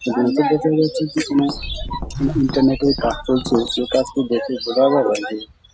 দেখে মনে হচ্ছে পেছনে কিছু ইন্টারনেট -এর কাজ চলছে যে কাজটি দেখে বোঝা যাবে যে ।